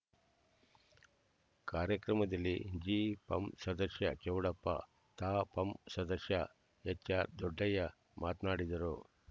ಕಾರ್ಯಕ್ರಮದಲ್ಲಿ ಜಿಪಂ ಸದಸ್ಯ ಚೌಡಪ್ಪ ತಾಪಂ ಸದಸ್ಯ ಎಚ್ಆರ್ದೊಡ್ಡಯ್ಯ ಮಾತನಾಡಿದರು